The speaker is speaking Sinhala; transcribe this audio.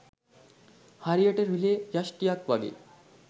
හරියට රිලේ යෂ්ටියක් වගෙයි.